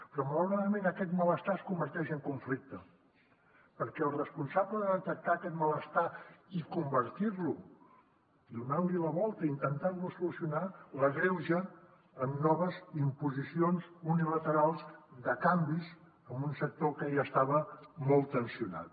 però malauradament aquest malestar es converteix en conflicte perquè el responsable de detectar aquest malestar i convertir lo donant li la volta intentant lo solucionar l’agreuja amb noves imposicions unilaterals de canvis en un sector que ja estava molt tensionat